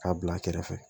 K'a bila kɛrɛfɛ